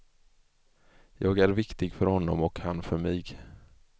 Jag är viktig för honom och han för mig.